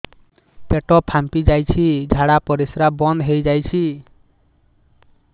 ପେଟ ଫାମ୍ପି ଯାଇଛି ଝାଡ଼ା ପରିସ୍ରା ବନ୍ଦ ହେଇଯାଇଛି